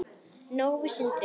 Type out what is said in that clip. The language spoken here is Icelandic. Nói og Sindri.